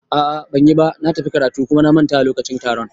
A'a banyiba, na tafi karatu kuma na manta da lokacin taron